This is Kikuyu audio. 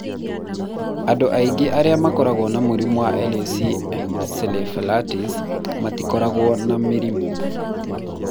Andũ aingĩ arĩa makoragwo na mũrimũ wa LAC encephalitis matikoragwo na mĩrimũ.